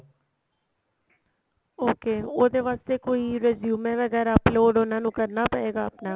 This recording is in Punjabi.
okay ਉਹਦੇ ਵਾਸਤੇ ਕੋਈ resume ਵਗੈਰਾ upload ਉਹਨਾ ਨੂੰ ਕਰਨਾ ਪਏਗਾ ਆਪਣਾ